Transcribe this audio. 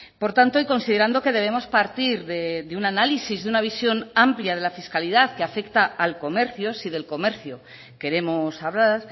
por tanto y considerando que debemos partir de un análisis de una visión amplia de la fiscalidad que afecta al comercio si del comercio queremos hablar